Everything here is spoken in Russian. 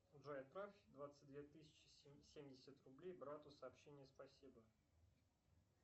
джой отправь двадцать две тысячи семьдесят рублей брату сообщение спасибо